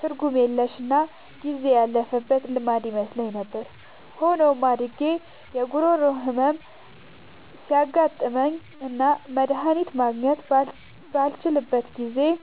ትርጉም የለሽና ጊዜ ያለፈበት ልማድ ይመስለኝ ነበር። ሆኖም፣ አድጌ የጉሮሮ ህመም ሲያጋጥመኝና መድሃኒት ማግኘት ባልችልበት ጊዜ፣